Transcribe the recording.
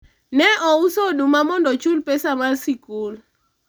ne ouso oduma mondo ochul pesa mar sikul